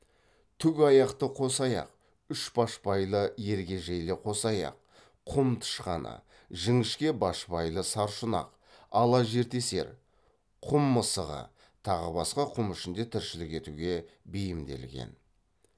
түк аяқты қосаяқ үшбашбайлы ергежейлі қосаяқ құм тышқаны жіңішке башбайлы саршұнақ ала жертесер құм мысығы тағы басқа құм ішінде тіршілік етуге бейімделген